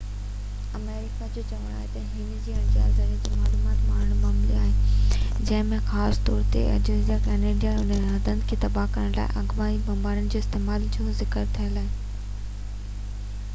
آمريڪا جو چوڻ آهي تہ هن کي اڻڃاتل زريعن کان معلومات ملي آهي جنهن ۾ خاص طور تي ايٿوپيا ۽ ڪينيا جي اهم هنڌن کي تباه ڪرڻ لاءِ آپگهاتي بمبارن جي استعمال جو ذڪر ٿيل آهي